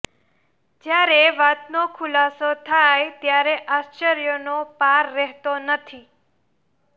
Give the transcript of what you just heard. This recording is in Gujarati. જ્યારે વાતનો ખુલાસો થાય ત્યારે આશ્વર્યનો પાર રહેતો નથી